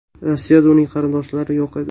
Rossiyada uning qarindoshlari yo‘q edi.